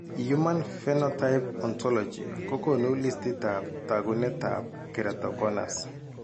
Human phenotype ontology kokoonu listiitab taakunetaab Keratoconus.